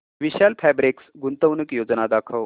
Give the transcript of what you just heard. विशाल fabrics गुंतवणूक योजना दाखव